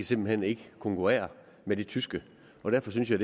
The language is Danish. simpelt hen ikke kan konkurrere med de tyske derfor synes jeg